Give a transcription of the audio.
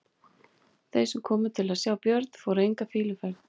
Þeir sem komu til að sjá Björn fóru enga fýluferð.